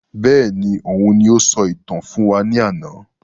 Bẹ́ẹ̀ni, òun ní o sọ ìtàn fún wa ní àna